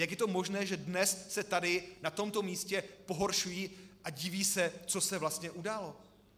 Jak je to možné, že dnes se tady na tomto místě pohoršují a diví se, co se vlastně událo?